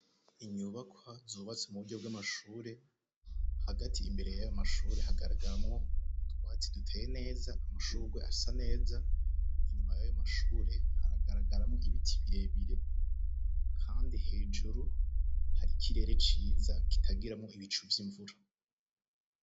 Inyubakwa zubatswe mu buryo bw'amashure. Hagati, imbere y'ayo mashure hagaragaramwo utwatsi duteye neza, amashurwe asa neza, inyuma y'ayo mashure haragaragaramwo ibiti birebire kandi hejuru hari ikirere ciza kitagiramwo ibicu vy'imvura.